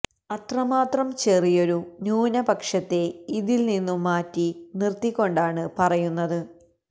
അത്രമാത്രം ചെറിയൊരു ന്യൂനപക്ഷത്തെ ഇതില് നിന്നും മാറ്റി നിര്ത്തിക്കൊണ്ടാണ് പറയുന്നത്